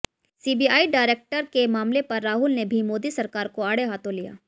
CBI director के मामले पर राहुल ने भी मोदी सरकार को आड़े हाथों लिया